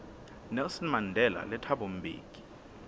nelson mandela le thabo mbeki